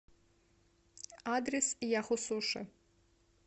адрес яхусуши